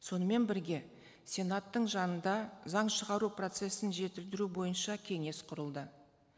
сонымен бірге сенаттың жанында заң шығару процессін жетілдіру бойынша кеңес құрылды